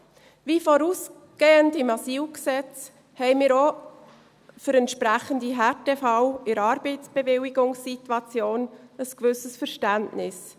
Wie vorausgehend beim EG AIG und AsylG haben wir auch für entsprechende Härtefälle in der Arbeitsbewilligungssituation ein gewisses Verständnis.